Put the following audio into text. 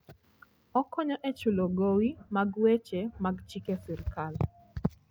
Okonyo e chulo gowi mag weche mag chike sirkal.